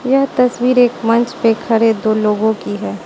यह तस्वीर एक मंच पे खड़े दो लोगों की है।